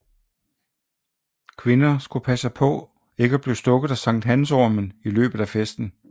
Kvinder skulle passe på ikke at blive stukket af sankthansormen i løbet af festen